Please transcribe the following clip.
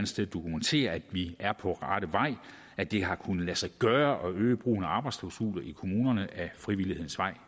sted dokumenterer at vi er på rette vej at det har kunnet lade sig gøre at øge brugen af arbejdsklausuler i kommunerne ad frivillighedens vej